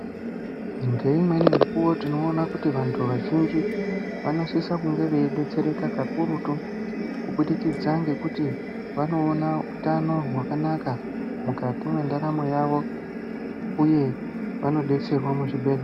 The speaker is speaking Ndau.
Ngeimweni mikuwo tinoone kuti vantu vazhinji vanosise kunge veidetsereka kakurutu kubudikidza ngekuti vanoona utano hutano hwakanaka mukati mendaramo yavo uye vanodetserwa muzvibhedhlera.